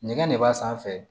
Nɛgɛn ne b'a sanfɛ